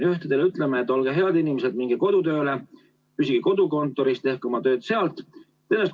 Ühtedele ütleme, et olge head inimesed, minge kodutööle, püsige kodukontoris, tehke oma tööd sealt.